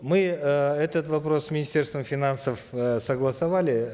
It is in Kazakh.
мы э этот вопрос с министерством финансов э согласовали